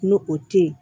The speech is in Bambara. N'o o tɛ yen